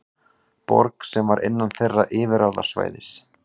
Borg sem var innan þeirra yfirráðasvæðis.